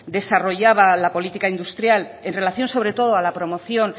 desarrollaba la política industrial en relación sobre todo a la promoción